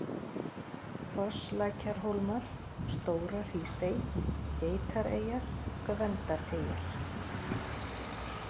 Fosslækjarhólmar, Stóra-Hrísey, Geitareyjar, Gvendareyjar